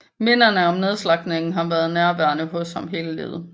Minderne om nedslagtningen har været nærværende hos ham hele livet